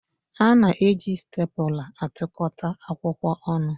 A na-eji stèpula atụkọta akwụkwọ ọnụ